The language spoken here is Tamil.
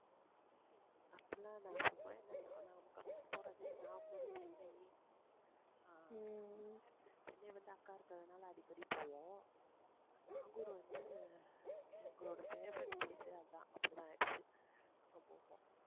அப்படிலாம் இல்ல சும்மா நாங்க போறதே நாகூர், சென்னை ஆஹ் சென்னை வந்து அக்கா இருந்ததுனால, அடிக்கடி போவோம். நாகூர் வந்து, எங்களோட favourite place அதான் அங்க போவோம்.